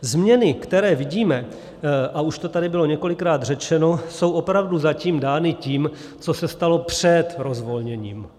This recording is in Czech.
Změny, které vidíme, a už to tady bylo několikrát řečeno, jsou opravdu zatím dány tím, co se stalo před rozvolněním.